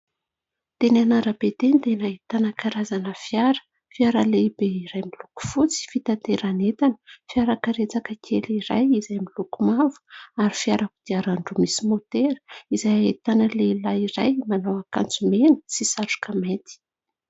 Teny amin'ny arabe teny dia nahitana karazana fiara : fiara lehibe iray miloko fotsy fitanteran'entana, fiara karetsaka kely iray izay miloko mavo ary fiara kodiaran-droa misy motera izay ahitana lehilahy iray manao akanjo mena sy satroka mainty.